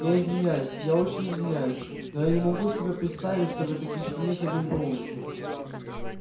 я извиняюсь я очень извиняюсь но я не могу себе представить чтобы такие штаны ходили по улицам